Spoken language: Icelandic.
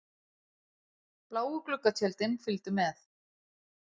Bláu gluggatjöldin fylgdu með.